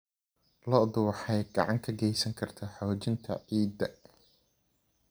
Lo'du waxay gacan ka geysan kartaa xoojinta ciidda.